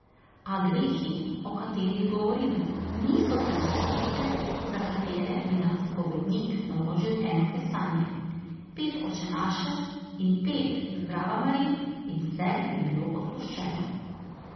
A grehi, o katerih govorim, niso tiste vrste, za katere bi nam spovednik naložil eno kesanje, pet očenašev in pet zdravamarij in vse bi bilo odpuščeno.